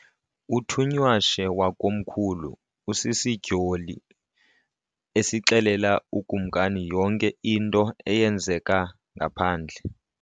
Uthunywashe wakomkhulu usisidyoli esixelela ukumkani yonke into eyenzeka ngaphandle.